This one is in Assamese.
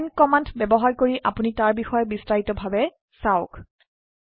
মান কমান্ড ব্যবহাৰ কৰি আপোনি তাৰ বিষয়ে বিস্তাৰিত ভাবে চাওক